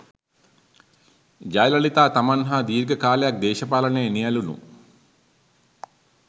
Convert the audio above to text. ජයලලිතා තමන් හා දීර්ඝ කාලයක් දේශපාලනයේ නියැළුණ